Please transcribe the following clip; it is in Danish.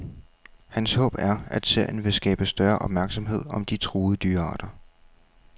Hans håb er, at serien vil skabe større opmærksomhed om de truede dyrearter.